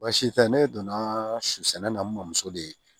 Baasi tɛ ne donna suɲɛ na n mamuso de ye